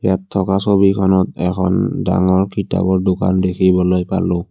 ইয়াত থকা ছবিখনত এখন ডাঙৰ কিতাপৰ দোকান দেখিবলৈ পালোঁ।